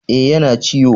E, yana ciwo.